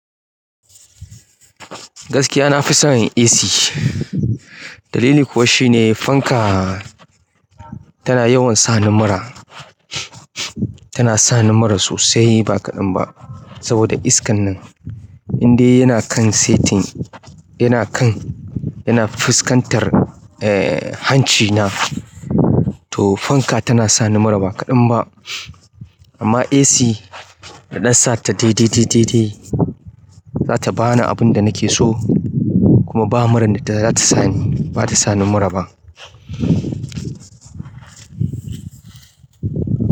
Gaskiya nafi son AC. Dalili kuwa shine fanka tana yawan sani mura, tana sani mura sosai ba kaɗan ba. Saboda iskan nan in dai yana kan setin, yana kan, yana fuskantar eh hancina, to fanka tana sani mura ba kaɗan ba. Amma AC idan sata dai dai dai dai dai zata bani abun da nake so kuma ba muran da zata sani. Bata sani mura ba.